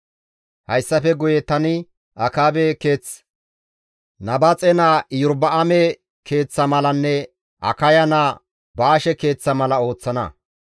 Hayssafe guye tani Akaabe keeth Nabaaxe naa Iyorba7aame keeththa malanne Akaya naa Baashe keeththa mala ooththana.